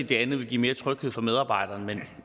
det andet ville give mere tryghed for medarbejderne